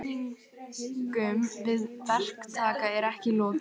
Samningum við verktaka er ekki lokið